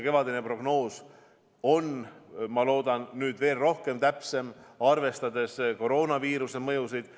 Kevadine prognoos on, ma loodan, rohkem täpne ja arvestab paremini koroonaviiruse mõjusid.